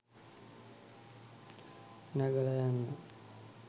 නැගලා යන්න